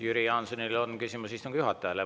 Jüri Jaansonil on küsimus istungi juhatajale.